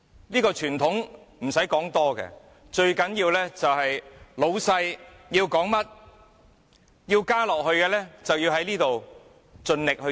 這個傳統，甚麼都不重要，最重要是老闆說甚麼，想要甚麼，我們便要在這裏盡力做。